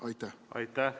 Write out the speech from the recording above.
Aitäh!